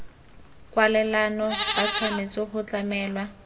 kwalelano ba tshwanetse go tlamelwa